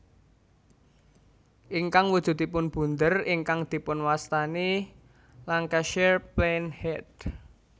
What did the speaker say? Ingkang wujudipun bunder ingkang dipunwastani Lancashire Plain Head